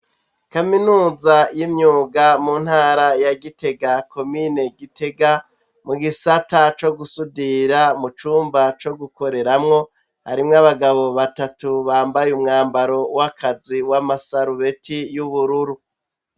Kaminuza y'imyuga, mu ntara ya Gitega, komine Gitega, mu gisata co gusudira, mu cumba co gukoreramwo, harimwo abagabo batatu, bambaye umwambaro w'akazi, w'amasarubeti y'ubururu.